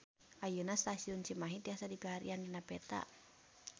Ayeuna Stasiun Cimahi tiasa dipilarian dina peta